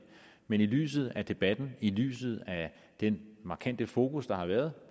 men i lyset af debatten i lyset af den markante fokus der har været